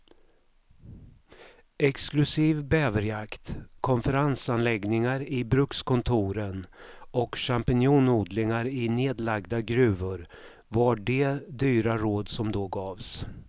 Exklusiv bäverjakt, konferensanläggningar i brukskontoren och champinjonodlingar i nedlagda gruvor var de dyra råd som då gavs.